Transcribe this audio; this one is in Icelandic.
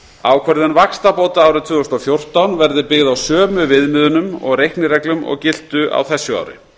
ákvörðun vaxtabóta árið tvö þúsund og fjórtán verði byggð á sömu viðmiðunum og reiknireglum og giltu á þessu ári